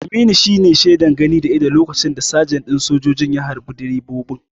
Aminu shine shaidar gani da idon lokacin da sajan ɗin sojojin ya harbe direban.